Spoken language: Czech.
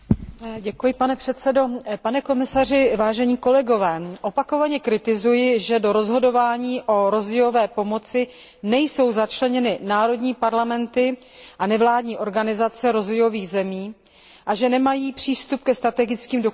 Pane komisaři, vážení kolegové, opakovaně kritizuji, že do rozhodování o rozvojové pomoci nejsou začleněny vnitrostátní parlamenty a nevládní organizace rozvojových zemí a že nemají přístup ke strategickým dokumentům.